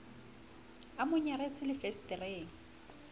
a mo nyaretse le fensetereng